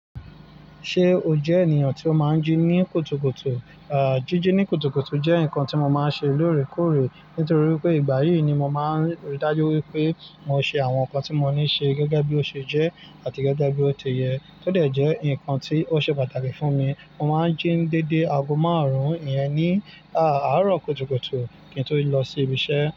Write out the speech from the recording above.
Ṣé o jẹ ènìyàn tí ó máa ń jí ní kùtùkùtù? Àá, jíjí ní kùtùkùtù jẹ́ nǹkan tí mo máa ń ṣe lóòrèkóòrè. Nítorí pé ìgbà yìí ni mo máa ń rí dájú wípé mo ṣe àwọn nǹkan tí mo ní ṣe gẹ́gẹ́ bí ó ṣe jẹ́ àti gẹ́gẹ́ bí ó ti yẹ. Ó de jẹ́ nǹkan tí ó ṣe pàtàkì fún mi. Mo máa ń jí ní dedé aago márùn-ún ìyẹn ní, àárọ̀ kùtùkùtù kí n tó lọ sí ibi iṣẹ́.